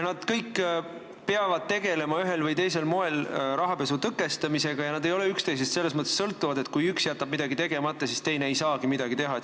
Nad kõik peavad ühel või teisel moel tegelema rahapesu tõkestamisega ja nad ei ole üksteisest selles mõttes sõltuvad, et kui üks jätab midagi tegemata, siis teine ei saagi midagi teha.